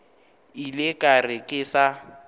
ile ka re ke sa